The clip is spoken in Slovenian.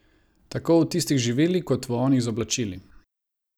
Tako v tistih z živili kot v onih z oblačili.